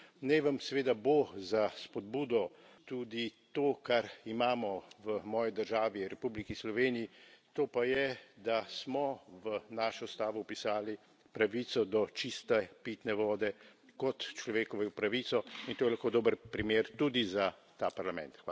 Naj vam seveda bo za vzpodbudo tudi to, kar imamo v moji državi, Republiki Sloveniji, to pa je, da smo v našo ustavo vpisali pravico do čiste pitne vode kot človekovo pravico in to je lahko dober primer tudi za ta parlament.